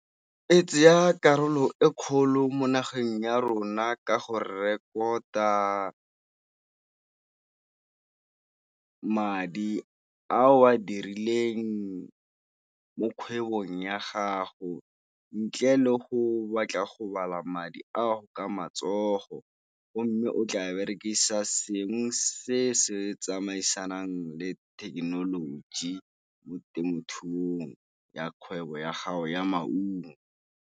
E tsaya karolo e kgolo mo nageng ya rona ka go rekota madi ao a dirileng mo kgwebong ya gago ntle le go batla go bala madi ao ka matsogo. Go mme o tla berekisa seng se se tsamaisanang le thekenoloji mo temothuong ya kgwebo ya gago ya maungo.